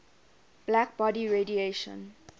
black body radiation